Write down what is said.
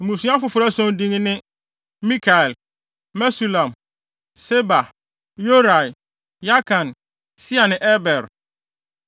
Na wɔn abusuafo a wɔyɛ ntuanofo ma mmusua afoforo ason din ne: Mikael, Mesulam, Seba, Yorai, Yakan, Sia ne Eber.